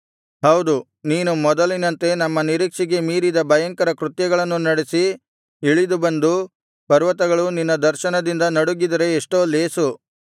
ಹೌದು ನೀನು ಮೊದಲಿನಂತೆ ನಮ್ಮ ನಿರೀಕ್ಷೆಗೆ ಮೀರಿದ ಭಯಂಕರ ಕೃತ್ಯಗಳನ್ನು ನಡೆಸಿ ಇಳಿದು ಬಂದು ಪರ್ವತಗಳು ನಿನ್ನ ದರ್ಶನದಿಂದ ನಡುಗಿದರೆ ಎಷ್ಟೋ ಲೇಸು